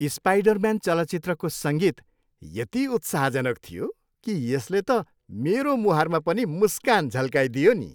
Spider-Man चलचित्रको सङ्गीत यति उत्साहजनक थियो कि यसले त मेरो मुहारमा पनि मुस्कान झल्काइदियो नि।